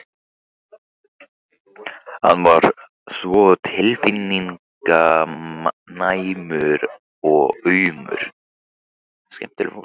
Hann er svo tilfinninganæmur og aumur.